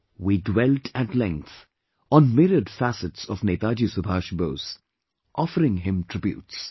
We dwelt at length on myriad facets of Netaji Subhash Bose, offering him tributes